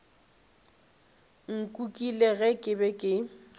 nkukile ge ke be ke